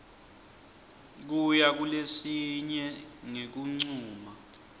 kuya kulesinye ngekuncuma